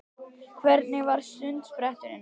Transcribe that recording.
Hvernig var sundspretturinn?